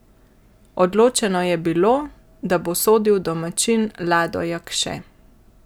Odločeno je bilo, da bo sodil domačin Lado Jakše.